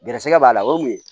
Gɛrɛsɛgɛ b'a la o kun ye